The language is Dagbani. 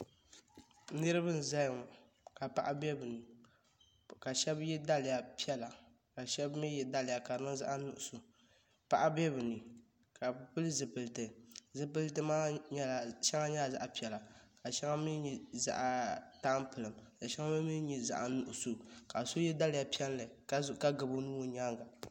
Niriba n zaya ŋɔ ka paɣa be bɛ ni ka sheba ye daliya piɛla ka sheba mee ye daliya ka di niŋ zaɣa nuɣuso paɣa be bɛ ni ka bɛ pili zipiliti zipiliti maa sheŋa nyɛla zaɣa piɛla ka sheŋa mee nyɛ zaɣa tampilim sheŋa mee nyɛ zaɣa nuɣuso ka so ye daliya piɛlli ka gabi o nuu o nyaanga.